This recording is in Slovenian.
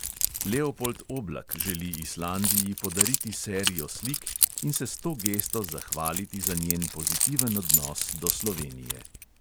Leopold oblak želi islandiji podariti serijo slik in se s to gesto zahvaliti za njen pozitiven odnos do slovenije.